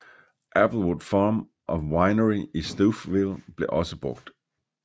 Applewood Farm and Winery i Stouffville blev også brugt